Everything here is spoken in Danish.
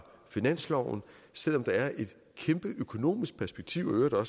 finansloven selv om der er et kæmpe økonomisk perspektiv og